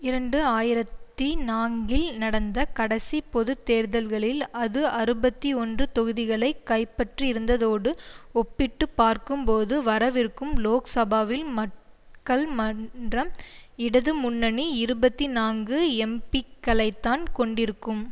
இரண்டு ஆயிரத்தி நான்கில் நடந்த கடைசிப் பொது தேர்தல்களில் அது அறுபத்தி ஒன்று தொகுதிகளை கைப்பற்றியிருந்ததோடு ஒப்பிட்டு பார்க்கும்போது வரவிருக்கும் லோக் சபாவில் மக்கள் மன்றம் இடது முன்னணி இருபத்தி நான்கு எம்பிக்களைத்தான் கொண்டிருக்கும்